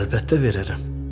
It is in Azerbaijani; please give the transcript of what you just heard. Əlbəttə verərəm.